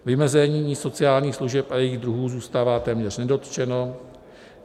Vymezení sociálních služeb a jejich druhů zůstává téměř nedotčeno.